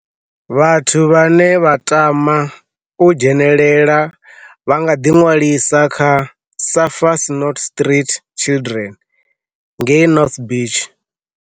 Vhathu vhane vha tama u dzhenela vha nga ḓiṅwalisa kha Surfers Not Street Children ngei North Beach.